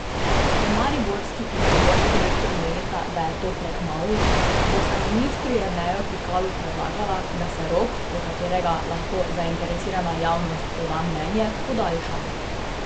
Ker mariborski in primorski rektor menita, da je to prekmalu, bosta ministru Jerneju Pikalu predlagala, da se rok, do katerega lahko zainteresirana javnost poda mnenje, podaljša.